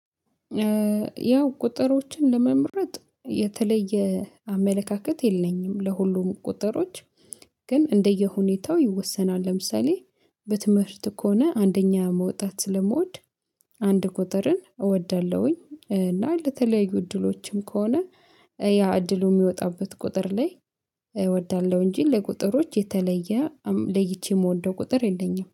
ያው ቁጥሮችን ለመምረጥ የተለየ አመለካከት የለኝም ለሁሉም ቁጥሮች ግን እንደየሁኔታው ይወሰናል። ለምሳሌ በትምህርት ከሆነ አንደኛ መውጣት ስለምወድ አንድ ቁጥርን እወዳለሁኝ። እና ለተለያዩ እድሎችም ከሆነ ያ እድሉ የሚወጣበት ቁጥር ላይ እወዳለሁ። እንጂ ለቁጥሮች የተለየ አም ለይቼ የምወደው ቁጥር የለኝም